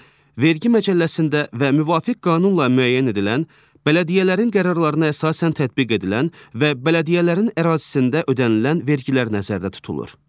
vergi məcəlləsində və müvafiq qanunla müəyyən edilən, bələdiyyələrin qərarlarına əsasən tətbiq edilən və bələdiyyələrin ərazisində ödənilən vergilər nəzərdə tutulur.